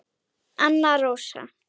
Anna Rósa.